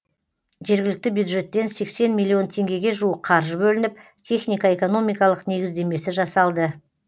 жергілікті бюджеттен сексен миллион теңгеге жуық қаржы бөлініп техника экономикалық негіздемесі жасалды